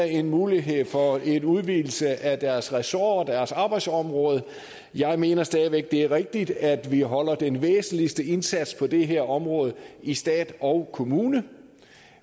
en mulighed for en udvidelse af deres ressort og arbejdsområde jeg mener stadig væk der er rigtigt at vi holder den væsentligste indsats på det her område i stat og kommune